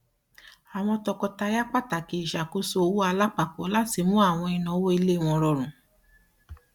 àwọn tọkọtaya pàtàkì ìṣàkóso owó alápapọ láti mú àwọn ìnáwó ilé rọrùn